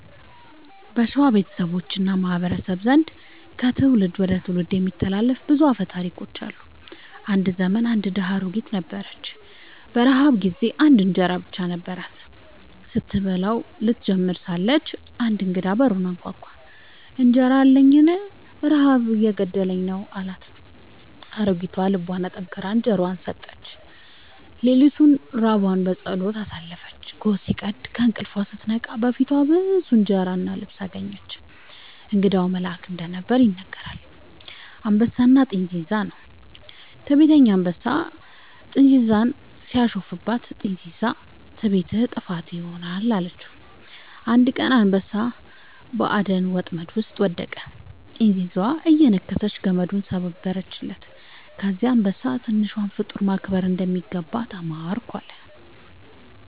በሸዋ ቤተሰቦች እና ማህበረሰቦች ዘንድ ከትውልድ ወደ ትውልድ የሚተላለፉ ብዙ አፈ ታሪኮች አሉ። አንድ ዘመን አንድ ድሃ አሮጊት ነበረች። በረሃብ ጊዜ አንድ እንጀራ ብቻ ነበራት። ስትበላው ልትጀምር ሳለች አንድ እንግዳ በሩን አንኳኳ፤ «እንጀራ አለኝን? ረሃብ እየገደለኝ ነው» አላት። አሮጊቷ ልቧን አጠንክራ እንጀራዋን ሰጠችው። ሌሊቱን ራቧን በጸሎት አሳለፈች። ጎህ ሲቀድ ከእንቅልፏ ስትነቃ በፊቷ ብዙ እንጀራ እና ልብስ አገኘች። እንግዳው መልአክ እንደነበር ይነገራል። «አንበሳና ጥንዚዛ» ነው። ትዕቢተኛ አንበሳ ጥንዚዛን ሲያሾፍባት፣ ጥንዚዛዋ «ትዕቢትህ ጥፋትህ ይሆናል» አለችው። አንድ ቀን አንበሳ በአደን ወጥመድ ውስጥ ወደቀ፤ ጥንዚዛዋ እየነከሰች ገመዱን ሰበረችለት። ከዚያ አንበሳ «ትንሿን ፍጡር ማክበር እንደሚገባ ተማርኩ» አለ